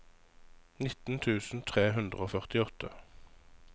nittien tusen tre hundre og førtiåtte